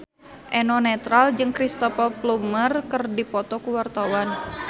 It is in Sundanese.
Eno Netral jeung Cristhoper Plumer keur dipoto ku wartawan